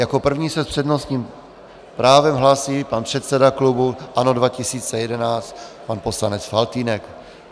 Jako první se s přednostním právem hlásí pan předseda klubu ANO 2011, pan poslanec Faltýnek.